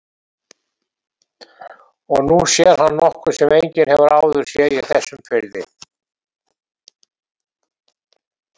Og nú sér hann nokkuð sem enginn hefur áður séð í þessum firði.